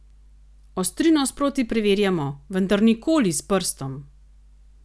Ostrino sproti preverjamo, vendar nikoli s prstom!